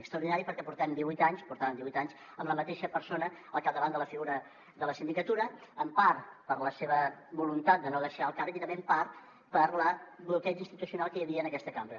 extraordinari perquè portem divuit anys portàvem divuit anys amb la mateixa persona al capdavant de la figura de la sindicatura en part per la seva voluntat de no deixar el càrrec i també en part pel bloqueig institucional que hi havia en aquesta cambra